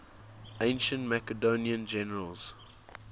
ancient macedonian generals